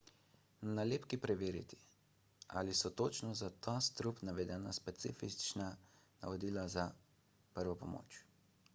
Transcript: na nalepki preverite ali so točno za ta strup navedena specifična navodila za prvo pomoč